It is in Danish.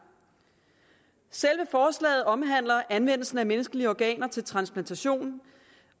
selve forslaget omhandler anvendelsen af menneskelige organer til transplantation